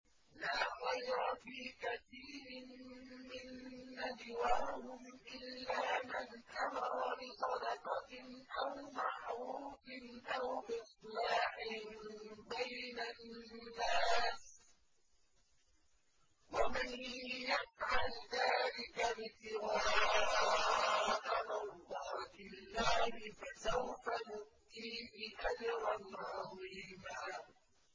۞ لَّا خَيْرَ فِي كَثِيرٍ مِّن نَّجْوَاهُمْ إِلَّا مَنْ أَمَرَ بِصَدَقَةٍ أَوْ مَعْرُوفٍ أَوْ إِصْلَاحٍ بَيْنَ النَّاسِ ۚ وَمَن يَفْعَلْ ذَٰلِكَ ابْتِغَاءَ مَرْضَاتِ اللَّهِ فَسَوْفَ نُؤْتِيهِ أَجْرًا عَظِيمًا